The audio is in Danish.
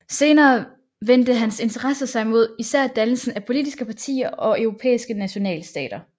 Senere vendte hans interesser sig mod især dannelsen af politiske partier og europæiske nationalstater